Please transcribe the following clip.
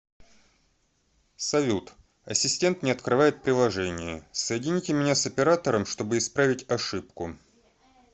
салют ассистент не открывает приложение соедините меня с оператором чтобы исправить ошибку